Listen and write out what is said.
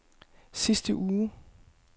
sidste uge